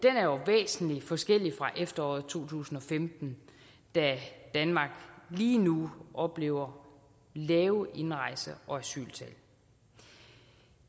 er jo væsentlig forskellig fra efteråret to tusind og femten da danmark lige nu oplever lave indrejse og asyltal